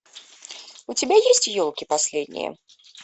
у тебя есть елки последние